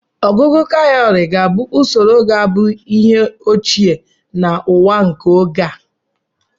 ọgugu káwùrị bu usoro ga-abụ ihe ochie na ụwa nke oge a